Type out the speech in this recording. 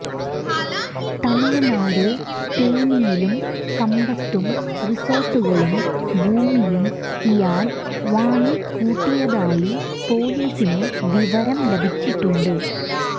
തമിഴ്നാട് തേനിയിലും കമ്പത്തും റിസോർട്ടുകളും ഭൂമിയും ഇയാൾ വാങ്ങിക്കൂട്ടിയതായി പൊലീസിന് വിവരം ലഭിച്ചിട്ടുണ്ട്